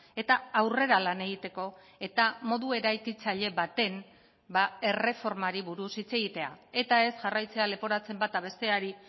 eta aurrera lan egiteko eta modu eraikitzaile baten erreformari buruz hitz egitea eta ez jarraitzea leporatzen bata besteari